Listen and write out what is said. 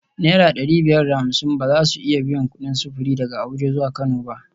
Naira dari biyar da hamsin ba za su iya biyan kudin sufuri daga Abuja zuwa Kano ba